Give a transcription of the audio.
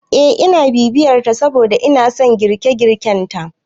Eh ina bibiyar ta saboda inason girke- girken ta